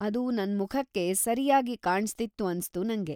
ಅದು ನನ್ಮುಖಕ್ಕೆ ಸರ್ಯಾಗಿ ಕಾಣ್ತಿತ್ತು ಅನ್ಸ್ತು ನಂಗೆ.